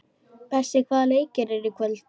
Bessi, hvaða leikir eru í kvöld?